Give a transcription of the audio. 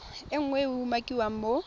nngwe e e umakiwang mo